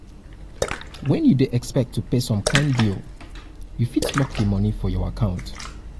when you dey expect to pay some kind bill you fit lock di money for your account